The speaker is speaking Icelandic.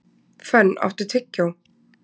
Fönn, áttu tyggjó?